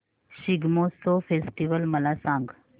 Shigmotsav festival मला सांग